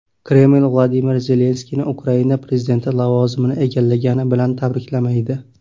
Kreml Vladimir Zelenskiyni Ukraina prezidenti lavozimini egallagani bilan tabriklamaydi.